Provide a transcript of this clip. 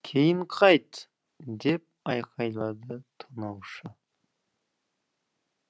кейін қайт деп айқайлады тонаушы